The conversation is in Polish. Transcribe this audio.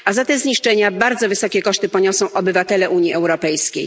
A za te zniszczenia bardzo wysokie koszty poniosą obywatele Unii Europejskiej.